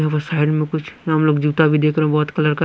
यहां पर साइड में कुछ हम लोग जूता भी देख रहे हैं बहुत कलर का--